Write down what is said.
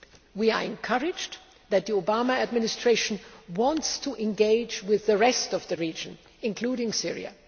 We are encouraged that the Obama Administration wants to engage with the rest of the region, including Syria.